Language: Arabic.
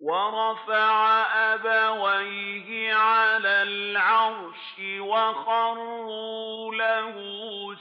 وَرَفَعَ أَبَوَيْهِ عَلَى الْعَرْشِ وَخَرُّوا لَهُ